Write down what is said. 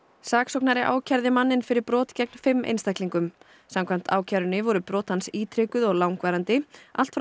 saksóknari ákærði manninn fyrir brot gegn fimm einstaklingum samkvæmt ákærunni voru brot hans ítrekuð og langvarandi allt frá